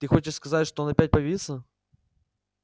ты хочешь сказать что он опять появится